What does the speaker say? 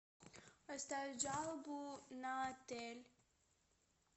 оставить жалобу на отель